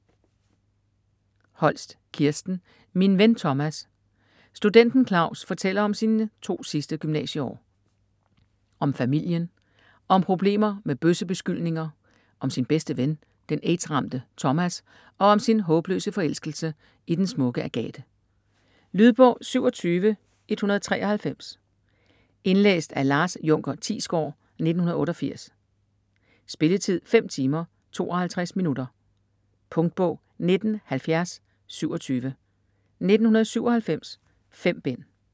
Holst, Kirsten: Min ven Thomas Studenten Claus fortæller om sine to sidste gymnasieår. Om familien, om problemer med bøssebeskyldninger, om sin bedste ven, den AIDS-ramte Thomas og om sin håbløse forelskelse i den smukke Agathe. Lydbog 27193 Indlæst af Lars Junker Thiesgård, 1988. Spilletid: 5 timer, 52 minutter. Punktbog 197027 1997. 5 bind.